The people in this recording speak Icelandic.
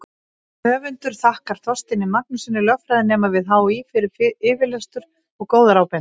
Höfundur þakkar Þorsteini Magnússyni, lögfræðinema við HÍ, fyrir yfirlestur og góðar ábendingar.